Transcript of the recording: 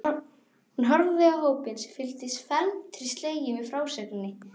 Hún horfði á hópinn sem fylgdist felmtri sleginn með frásögninni.